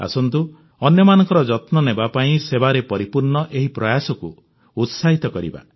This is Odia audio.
ଆସନ୍ତୁ ଅନ୍ୟମାନଙ୍କ ଯତ୍ନ ନେବାପାଇଁ ସେବାରେ ପରିପୂର୍ଣ୍ଣ ଏହି ପ୍ରୟାସକୁ ଉତ୍ସାହିତ କରିବା